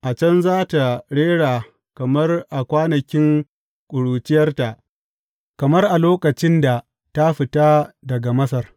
A can za tă rera kamar a kwanakin ƙuruciyarta, kamar a lokacin da ta fita daga Masar.